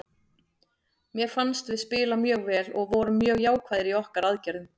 Mér fannst við spila mjög vel og vorum mjög jákvæðir í okkar aðgerðum.